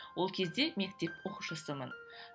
ол кезде мектеп оқушысымын